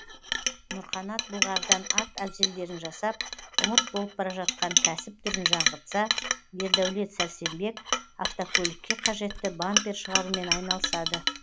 нұрқанат былғарыдан ат әбзелдерін жасап ұмыт болып бара жатқан кәсіп түрін жаңғыртса ердәулет сәрсенбек автокөлікке қажетті бампер шығарумен айналысады